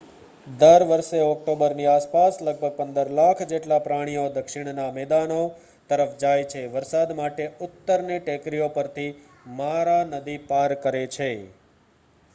દર વર્ષે ઓક્ટોબરની આસપાસ લગભગ 15 લાખ જેટલા પ્રાણીઓ દક્ષિણના મેદાનો તરફ જાય છે વરસાદ માટે ઉત્તરની ટેકરીઓ પરથી મારા નદી પાર કરે છે